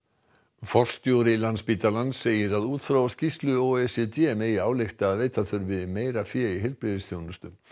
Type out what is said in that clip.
forstjóri Landspítalans segir að út frá skýrslu o e c d megi álykta að veita þurfi meira fé í heilbrigðisþjónustu